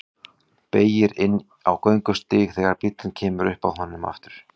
Beygir inn á göngustíg þegar bíllinn kemur upp að honum aftur.